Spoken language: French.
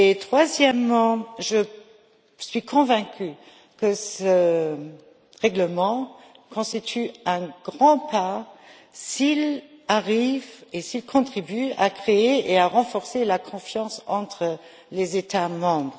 Troisièmement, je suis convaincue que ce règlement constitue un grand pas en avant, s'il arrive et s'il contribue à créer et à renforcer la confiance entre les États membres.